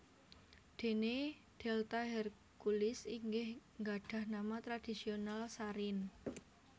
Dene delta Herculis inggih gadhah nama tradhisional Sarin